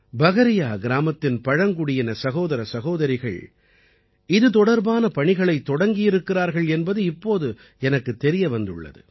பகரியா கிராமத்தின் பழங்குடியின சகோதர சகோதரிகள் இது தொடர்பான பணிகளைத் தொடங்கியிருக்கிறார்கள் என்பது இப்போது எனக்குத் தெரிய வந்துள்ளது